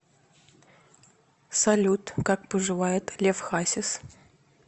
салют как поживает лев хасис